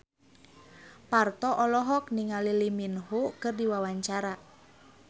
Parto olohok ningali Lee Min Ho keur diwawancara